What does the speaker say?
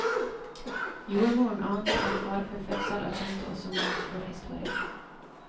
Jordmoren ante en farefull fødsel og kjente også morens forhistorie.